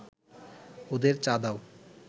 ওদের চা দাও